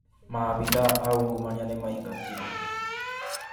Maabitha aungumania nĩmaingatirwo